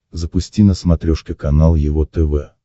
запусти на смотрешке канал его тв